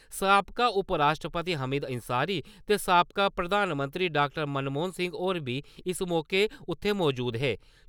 साबका उप राश्ट्रपति हामिद अंसारी ते साबका प्रधानमंत्री डाॅ. मनमोहन सिंह होर बी इस मौके उत्थै मजूद हे।